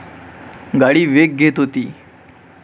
गाडी वेग घेत होती.